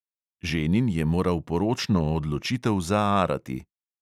Ženin je moral poročno odločitev zaarati.